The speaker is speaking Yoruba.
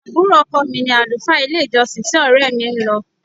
Àbúrò ọkọ̀ mi ni àlùfáà ilé-ìjọsìn tí ọrẹ mi ń lọ.